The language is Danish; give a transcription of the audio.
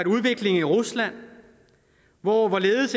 udviklingen i rusland hvor